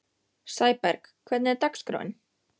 Sæberg, hvernig er dagskráin?